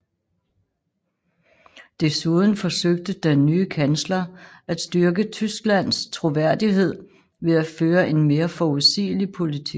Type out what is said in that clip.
Desuden forsøgte den nye kansler at styrke Tysklands troværdighed ved at føre en mere forudsigelig politik